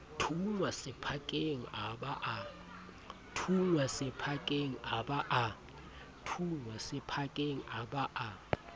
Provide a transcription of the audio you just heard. thunngwa sephakeng a ba a